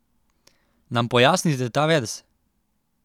Nam pojasnite ta verz?